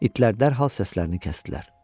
İtlər dərhal səslərini kəsdilər.